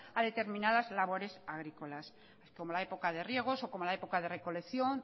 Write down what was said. a determinadas labores agrícolas como la época de riegos o como la época de recolección